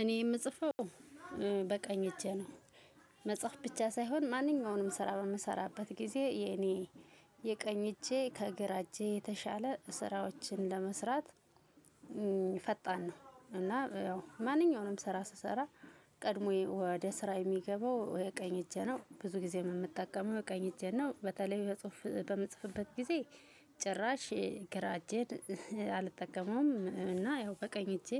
እኔ የምጽፈው በቀኝ እጄ ነው መጽሐፍ ብቻ ሳይሆን ማንኛውንም ስራ በምሰራበት ጊዜ የኔ የቀኝ እጄ ከግራ እጄ የተሻለ ስራዎችን ለመስራት ፈጣን ነው እና ያው ማንኛውንም ስራ ስሰራ ቀድሞ ወደ ስራ የሚገባው ቀኝ እጄ ነው። ብዙ ጊዜም የምጠቀመው ቀኝ እጄን ነው። በተለይ ጽሁፍ በምጽፍበት ጊዜ ጭራሽ ግራ እጄን አልጠቀመውም እና ያው በቀኝ እጄ